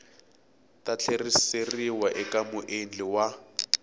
ta tlheriseriwa eka muendli wa